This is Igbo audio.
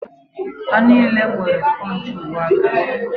Ha niile nwere spọnchị uwe aka.